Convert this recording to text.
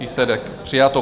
Výsledek: přijato.